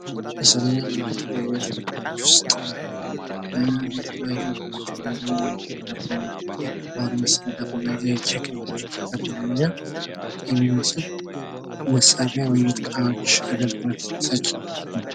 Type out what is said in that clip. በምስሉ ላይ እንደምንመለከተው የቤት ውስጥ እቃወችን ሲሆን ፤ ለምግብ ማቅረቢያ የሚያገለግል ግድግዳ ላይ የተሰቀለ ትሪ እና ለሎችም የቤት እቃዎች ይገኙበታል ።